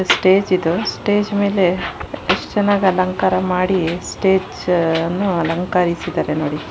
Stage ಇದು. Stage ಮೇಲೆ ಎಷ್ಟ್ ಚೆನ್ನಾಗಿ ಅಲಾಂಕಾರ ಮಾಡಿ ಸ್ಟೇಜ್ ಅನ್ನು ಅಲಂಕರೀಸಿದ್ದಾರೆ ನೋಡಿ.